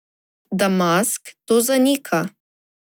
Damask to zanika.